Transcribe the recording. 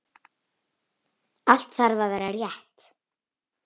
Allt þarf að vera rétt.